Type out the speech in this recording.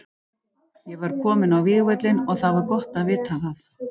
Ég var kominn á vígvöllinn og það var gott að vita það.